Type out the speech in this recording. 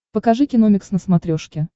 покажи киномикс на смотрешке